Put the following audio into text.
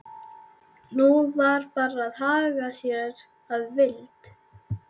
Nú var bara að haga sér að vild.